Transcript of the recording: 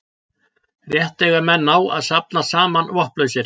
rétt eiga menn á að safnast saman vopnlausir